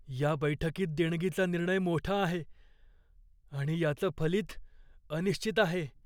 या बैठकीत देणगीचा निर्णय मोठा आहे आणि याचं फलित अनिश्चित आहे.